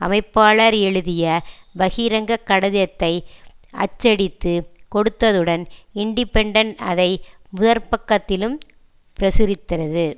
அமைப்பாளர் எழுதிய பகிரங்க கடிதத்தை அச்சடித்து கொடுத்ததுடன் இண்டிபென்டென்ட் அதை முதற்பக்கத்திலும் பிரசுரித்தது